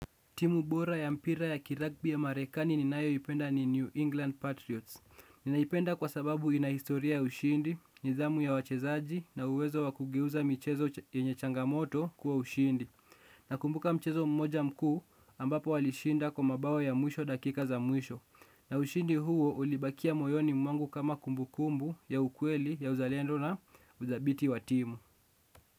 Timu bora ya mpira ya kiragbi ya marekani ninayoipenda ni New England Patriots. Ninaipenda kwa sababu ina historia ya ushindi, nidhamu ya wachezaji na uwezo wa kugeuza michezo yenye changamoto kuwa ushindi. Nakumbuka mchezo mmoja mkuu ambapo walishinda kwa mabao ya mwisho dakika za mwisho. Na ushindi huo ulibakia moyoni mwangu kama kumbukumbu ya ukweli ya uzalendo na udhabiti wa timu.